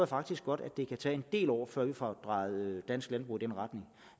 faktisk godt at det kan tage en del år før vi får drejet dansk landbrug i den retning